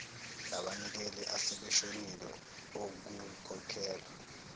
labanikeli asebeshonile okukhokhelwe